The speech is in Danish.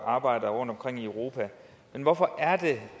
arbejdere rundtomkring i europa men hvorfor er det